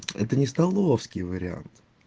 это не столовский вариант